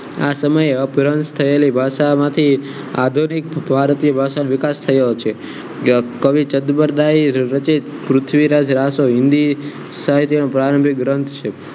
આ સમયે અપ્રાંત થયેલી ભાષા માંથી આબેદી ભારતીય ભાષાનો વિકાસ થયો છે કવિ તત્પરાયેલ રચિત પૃથ્વીરાજરાસો હિન્દી સાહિત્યનો પ્રારંભિક રંગ છે